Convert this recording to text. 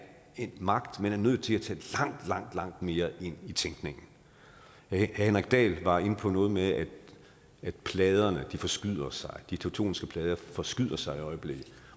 en magt man er nødt til at tage langt langt mere ind i tænkningen herre henrik dahl var inde på noget med at pladerne forskyder sig at de tektoniske plader forskyder sig i øjeblikket